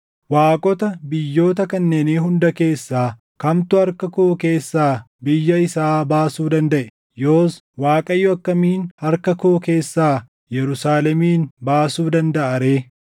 Waaqota biyyoota kanneenii hunda keessaa kamtu harka koo keessaa biyya isaa baasuu dandaʼe? Yoos Waaqayyo akkamiin harka koo keessaa Yerusaalemin baasuu dandaʼa ree?”